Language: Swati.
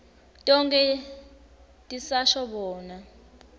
tonkhe tisasho bona